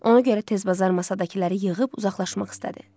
Ona görə tez bazar masadakıları yığıb uzaqlaşmaq istədi.